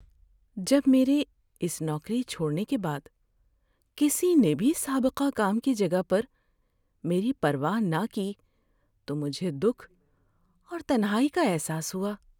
جب میرے اس نوکری چھوڑنے کے بعد کسی نے بھی سابقہ کام کی جگہ پر میری پرواہ نہ کی تو مجھے دکھ اور تنہائی کا احساس ہوا۔